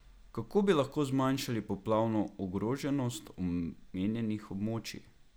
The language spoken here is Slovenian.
Kako bi lahko zmanjšali poplavno ogroženost omenjenih območij?